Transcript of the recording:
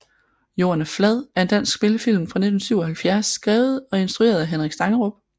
Jorden er flad er en dansk spillefilm fra 1977 skrevet og instrueret af Henrik Stangerup